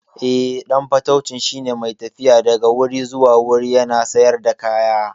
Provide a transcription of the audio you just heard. Eh, ɗan fatauci shine mai tafiya daga wuri zuwa wuri yana sayar da kaya.